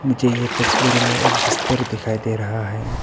मुझे ये तस्वीर में एक बिस्तर दिखाई दे रहा है।